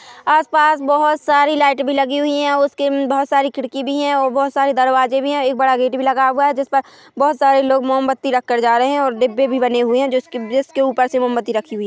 आस पास बहोत सारी लाइट भी लगी हुई है उसके बहोत सारी खिड़की भी है और बहोत सारे दरवाजे भी है एक बड़ा गेट भी लगा हुआ है जिस पर बहोत सारे लोग मोमबत्ती रख कर जा रहे है और डिब्बे भी बने हुए है जिसके ऊपर से मोमबत्ती रखी हुई है।